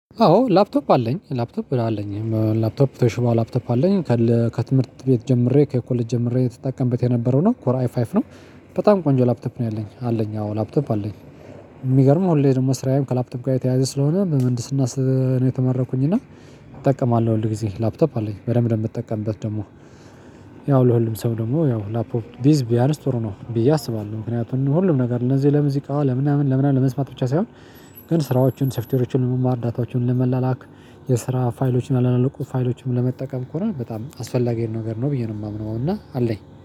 አዎ ላፕቶፕ አለኝ ላፕቶፕ አለኝ ላፕቶፕ ቶሽባ ላፕቶፕ አለኝ። ከትምህርት ቤት ጀምሬ ከኮሌጅ ጀምሬ ስተጠቀመበት የነበረው ነው ኮር አይ ፋይፍ ነው። በጣም ቆንጆ ላፕቶፕ ነው ያለኝ አለኝ አዎ ላፕቶፕ አለኝ። የሚገርምው ሁሌ ደግሞ መስራዬም ከላፕቶ ጋር የተያያዘ ስለሆነ በምንድስና ስለተመረኩኝ እና እጠቀማለሁ ሁል ጊዜ ላፕቶፕ አለኝ በደንብ ነው ምትጠቀምበት ደግሞ። ያው የሁሉም ሰው ደግሞ ያው ላፕቶፕ ቢይዝ ቢያነስ ጥሩ ነው ብዬ አስባለሁ ምክንያቱም ሁሉም ነገር እንደዚህ ለሙዚቃ ለምናምን ለምናምን ለመስማት ብቻ ሳይሆን። ግን ስራዎችን ሶፍትዌሮችን ለመማር ዳታዎችን ለመላላክ የስራ ፋይሎችን ፋይሎችን ለመጠቀም ከሆነ በጣም አስፈላጊ ነገር ነው ብዬ ነው የማምነው። እና አለኝ